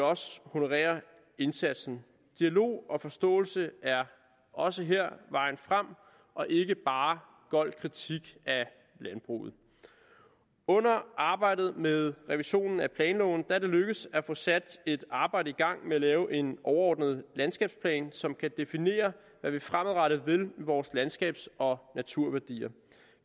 også honorere indsatsen dialog og forståelse er også her vejen frem ikke bare gold kritik af landbruget under arbejdet med revisionen af planloven er det lykkedes at få sat et arbejde i gang med at lave en overordnet landskabsplan som kan definere hvad vi fremadrettet vil med vores landskabs og naturværdier